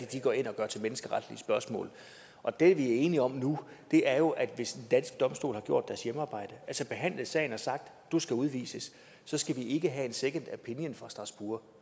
går ind og gør til menneskeretlige spørgsmål og det vi er enige om nu er jo at hvis den danske domstol har gjort sit hjemmearbejde altså behandlet sagen og sagt at du skal udvises så skal vi ikke have en second opinion fra strasbourg